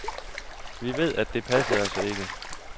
Vi ved, at det passede altså ikke.